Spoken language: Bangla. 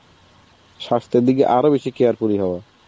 স্বাস্থ্যের দিকে আরো বেশি careful হবে.